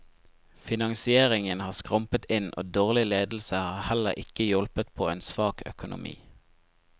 Finansieringen har skrumpet inn og dårlig ledelse har heller ikke hjulpet på en svak økonomi.